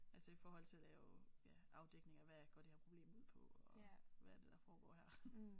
Altså i forhold til at lave ja afdækning af hvad går det her problem ud på og hvad er det der foregår her